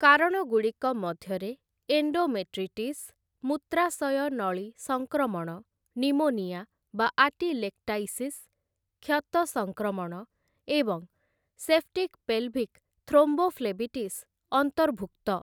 କାରଣଗୁଡ଼ିକ ମଧ୍ୟରେ ଏଣ୍ଡୋମେଟ୍ରିଟିସ୍, ମୂତ୍ରାଶୟ ନଳୀ ସଂକ୍ରମଣ, ନିମୋନିଆ ଆଟିଲେକ୍ଟାଇସିସ୍, କ୍ଷତ ସଂକ୍ରମଣ, ଏବଂ ସେପ୍ଟିକ୍ ପେଲଭିକ୍ ଥ୍ରୋମ୍ବୋଫ୍ଲେବିଟିସ୍ ଅନ୍ତର୍ଭୁକ୍ତ ।